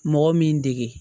Mɔgɔ min dege